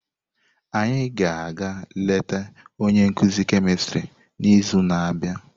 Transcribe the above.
Anyị ga-aga eleta onye nkuzi kemistri n'izu na-abịa.